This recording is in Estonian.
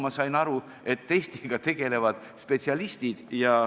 Ma sain aru, et testiga tegelevad spetsialistid.